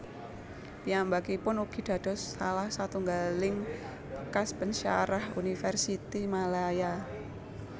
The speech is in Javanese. Piyambakipun ugi dados salah satunggaling bekas pensyarah Universiti Malaya